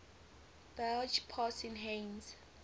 barge passing heinz